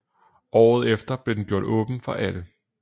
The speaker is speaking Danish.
Året efter blev den gjort åben for alle